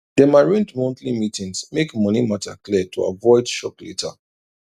dem arrange monthly meetings make money matter clear to avoid shock later